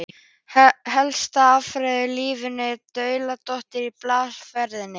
Helsta aðferðin við lífgun úr dauðadái er blástursaðferðin.